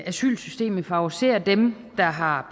asylsystemet favoriserer dem der har